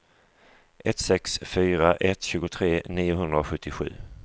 ett sex fyra ett tjugotre niohundrasjuttiosju